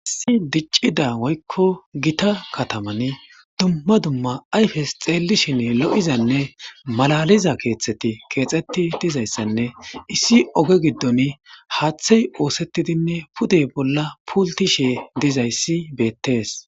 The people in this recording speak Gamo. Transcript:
Issi diccida woykko gita kataman dumma dumma ayfes xeelishin lo7izanne malaliza keexteti keexeti dizayssanne issi oge giddon haaththey oosettidinne pude bolla pultishe dizayssi beettees.